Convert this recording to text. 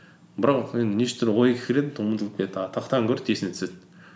бірақ енді неше түрлі ой кіреді ұмытылып кетеді а тақтадан көреді есіне түседі